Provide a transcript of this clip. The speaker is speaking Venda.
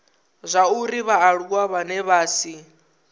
zwauri vhaaluwa vhane vha si